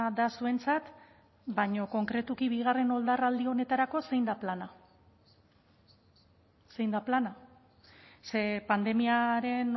da zuentzat baina konkretuki bigarren oldarraldi honetarako zein da plana zein da plana ze pandemiaren